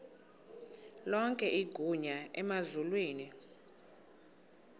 lonke igunya emazulwini